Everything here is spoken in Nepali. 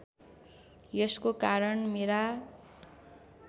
यसको कारण मेरा